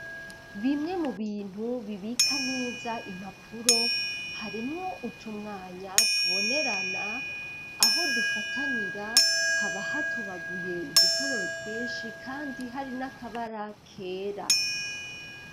Bimwe mu bintu bibika neza impapuro harimwo utumwanya tubonerana aho dufatanira haba hatobaguye udutoboro twinshi kandi hari n'akabara kera.